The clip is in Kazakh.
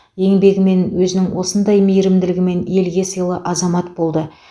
еңбегімен өзінің сондай мейірімділігімен елге сыйлы азамат болды